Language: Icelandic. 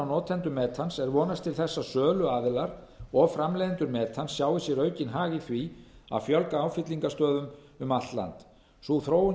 notendum metans er vonast til þess að söluaðilar og framleiðendur metans sjái sér aukinn hag í því að fjölga áfyllingarstöðvum um allt land sú þróun